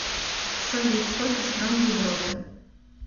салют сколько стран в европе